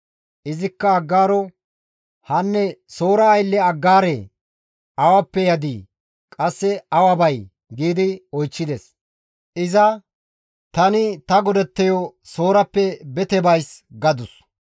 Izikka Aggaaro, «Hanne Soora aylle Aggaaree! Awappe yadii? Qasse awa bay?» gi oychchides. Iza, «Tani ta godatteyo Soorappe bete bays» gadus.